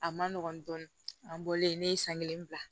A ma nɔgɔn dɔɔnin an bɔlen ne ye san kelen bila